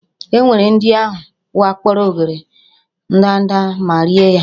Ngwere ndị ahụ wakporo óghéré ndanda ma rie ha